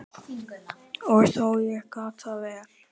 Og þó, ég gat það vel.